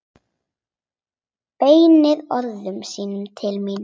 Beinir orðum sínum til mín.